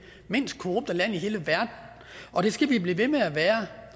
mindst korrupte land i hele verden og det skal vi blive ved med at være